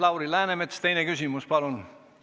Lauri Läänemets, teine küsimus, palun!